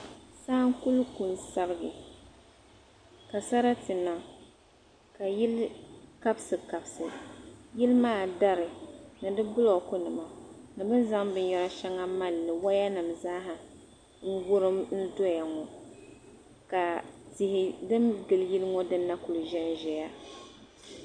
Saa n-kuli ku n-sabigi ka sarati niŋ ka yili kabisikabisi. Yili maa dari ni di bulookunima ni bɛ ni zaŋ binyɛr' shɛŋa maali li. Wayanima zaaha n-wurim n-dɔya ŋɔ ka tihi din gili yili ŋɔ din na ku zanzaya.